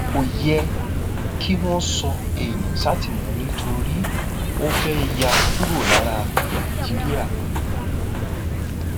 kò yẹ kí wọn sọ èèyàn sátìmọlé torí ó fẹẹ yà kúrò lára nàìjíríà